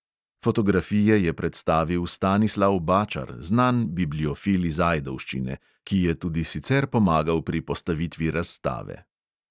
Fotografije je predstavil stanislav bačar, znan bibliofil iz ajdovščine, ki je tudi sicer pomagal pri postavitvi razstave.